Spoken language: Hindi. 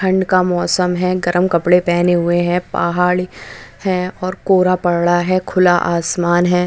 ठंड का मौसम है गर्म कपड़े पहने हुए है पहाड़ है और कोहरा पड़ा है खुला आसमान है।